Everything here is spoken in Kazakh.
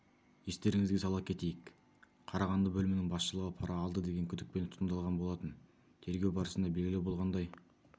естеріңізге сала кетейік қарағанды бөлімінің басшылығы пара алды деген күдікпен тұтқындалған болатын тергеу барысында белгілі болғандай